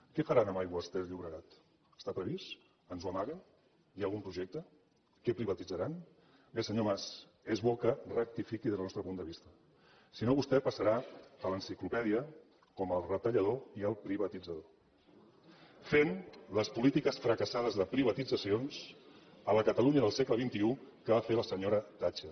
què faran aigües ter llobregat està previst ens ho amaguen hi ha algun projecte què privatitzaran bé senyor mas és bo que rectifiqui des del nostre punt de vista si no vostè passarà a l’enciclopèdia com el retallador i el privatitzador fent les polítiques fracassades de privatitzacions a la catalunya del segle xxi que va fer la senyora thatcher